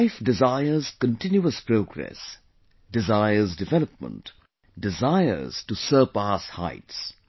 life desires continuous progress, desires development, desires to surpass heights